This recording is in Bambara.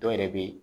Dɔw yɛrɛ bɛ yen